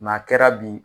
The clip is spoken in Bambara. a kɛra bi